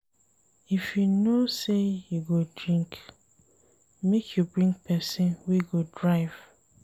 If you know sey you go drink, make you bring pesin wey go drive.